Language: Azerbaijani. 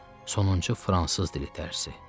Sonuncu fransız dili dərsi.